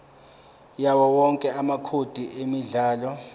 yawowonke amacode emidlalo